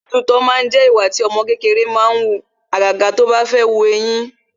Títu itọ́ jẹ ìwà tí ọmọ kékeré máa ń wù, àjàjà tó bá fẹ́ wu eyín